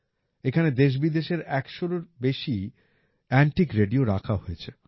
এখানে দেশবিদেশের ১০০রও বেশি এন্টিক রেডিও রাখা হয়েছে